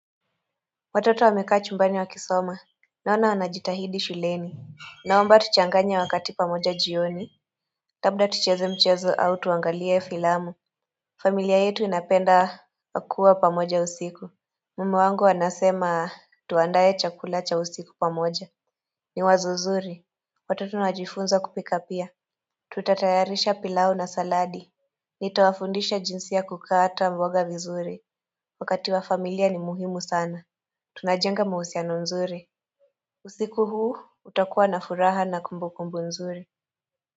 Watoto wamekaa chumbani wakisoma. Naona wanajitahidi shuleni. Naomba tuchanganye wakati pamoja jioni. Kabla tucheze michezo au tuangalie filamu. Familia yetu inapenda kua pamoja usiku. Mume wangu anasema, tuandaye chakula cha usiku pamoja. Ni wazo zuri. Watoto wanajifunza kupika pia. Tutatayarisha pilau na saladi. Nitawafundisha jinsi ya kukata mboga vizuri. Wakati wa familia ni muhimu sana. Tunajenga mahusiano nzuri. Usiku huu utakuwa na furaha na kumbukumbu nzuri.